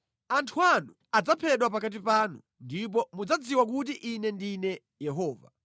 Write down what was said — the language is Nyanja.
Anthu anu adzaphedwa pakati panu, ndipo mudzadziwa kuti Ine ndine Yehova.’